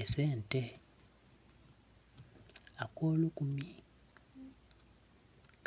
Esente. Ak'olukumi